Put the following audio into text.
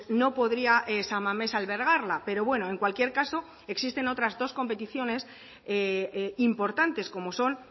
no podría san mamés albergarla pero bueno en cualquier caso existen otras dos competiciones importantes como son